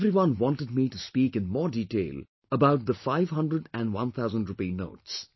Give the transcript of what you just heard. Everyone wanted me to speak in more detail about the 500 & 1000 rupee notes